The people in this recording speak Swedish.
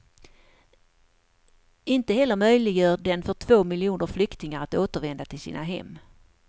Inte heller möjliggör den för två miljoner flyktingar att återvända till sina hem.